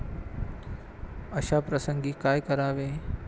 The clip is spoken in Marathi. अशा प्रसंगी काय करावे?